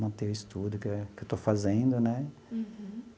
Manter o estudo que eu que eu estou fazendo, né?